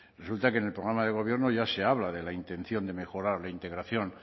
resulta que en el programa de gobierno ya se habla de la intención de mejorar la integración